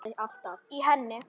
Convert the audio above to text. í henni